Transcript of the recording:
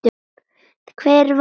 Hver var þetta?